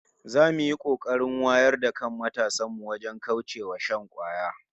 Za mu yi kokarin wayar da kan matasan mu wajen kauce wa shan kwaya